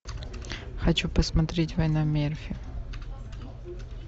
хочу посмотреть война мерфи